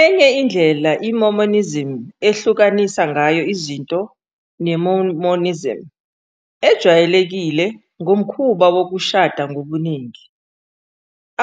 Enye indlela iMormonism ehlukanisa ngayo izinto neMormonism ejwayelekile ngomkhuba wokushada ngobuningi.